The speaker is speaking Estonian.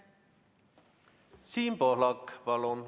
Siim Pohlak, palun!